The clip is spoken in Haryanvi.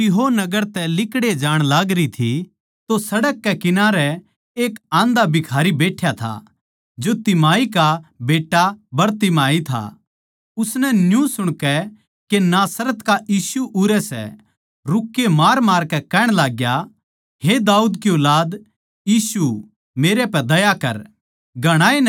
यीशु अर उसके चेल्लें यरुशलेम नगर जाते बखत यरीहो नगर म्ह आये अर जिब वो अर उसके चेल्लें अर एक बड्डी भीड़ यरीहो नगर तै लिकड़ै जाण लागरी थी तो सड़क कै किनारै एक आन्धा भिखारी बैठ्या था जो तिमाई का बेट्टा बरतिमाई था